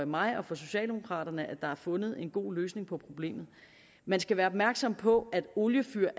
mig og for socialdemokraterne at der er fundet en god løsning på problemet man skal være opmærksom på at oliefyr